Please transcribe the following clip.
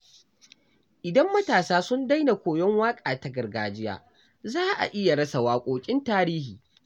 Idan matasa sun daina koyon waƙa ta gargajiya, za a iya rasa waƙoƙin tarihi.